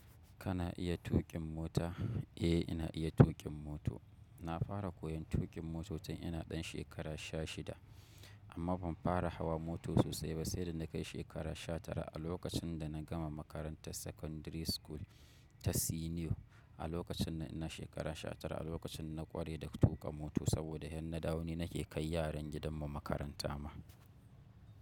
Kana iya tuƙin mota? Eh, ina iya tuƙin mota. Na fara koyon tuƙin moto tin ina ɗan shekara sha shida, amma ban fara hawa mota sosai ba sai da na kai shekara sha tara a lokacin da na gama makarantar Secondary School ta Senior a lokacinnan ina shekara sha tara a lokacin na ƙware da tuƙa mota saboda in na dawo ni nake kai yaran gidan mu makaranta ma.